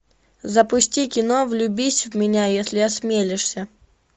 запусти кино влюбись в меня если осмелишься